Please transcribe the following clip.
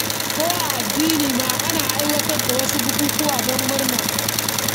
Ko a addini ma ana aiwatar da wasu bukukuwa don murna.